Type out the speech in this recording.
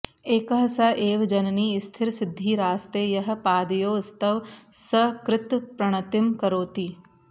एकः स एव जननि स्थिरसिद्धिरास्ते यः पादयोस्तव सकृत्प्रणतिं करोति